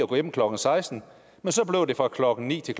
gå hjem klokken sekstende men så blev det fra klokken ni til